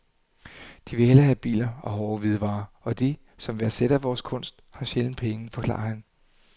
De vil hellere have biler og hårde hvidevarer, og de, som værdsætter vores kunst, har sjældent penge, forklarer han.